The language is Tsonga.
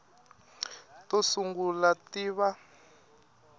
to sungula ti ta va